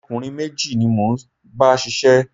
Ọ̀kùnrin méjì ni mo ń bá ṣiṣẹ́